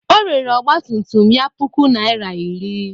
O rere ọgba tum tum ya puku naịra iri.